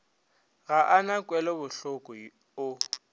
ga a na kwelobohloko o